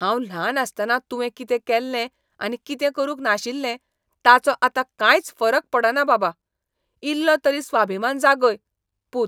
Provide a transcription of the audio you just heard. हांव ल्हान आसतना तुवें कितें केल्लें आनी कितें करूंक नाशिल्लें ताचो आतां कांयच फरक पडना, बाबा. इल्लो तरी स्वाभिमान जागय! पूत